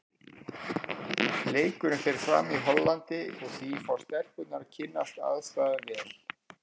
Leikurinn fer fram í Hollandi og því fá stelpurnar að kynnast aðstæðum vel.